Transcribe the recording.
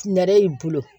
Nɛrɛ y'i bolo